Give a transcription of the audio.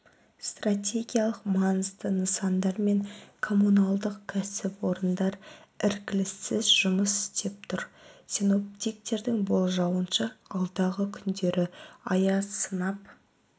стратегиялық маңызды нысандар мен коммуналдық кәсіпорындар іркіліссіз жұмыс істеп тұр синоптиктердің болжауынша алдағы күндері аяз сынып